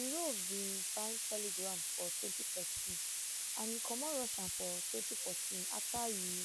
durov bin find telegram for twenty thirteen and e comot russia for twenty fourteen afta e